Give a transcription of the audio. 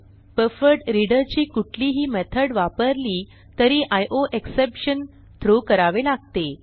buffered reader ची कुठलीही method वापरली तरी आयोएक्सेप्शन थ्रो करावे लागते